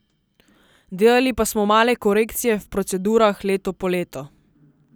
Delali pa smo male korekcije v procedurah leto po leto.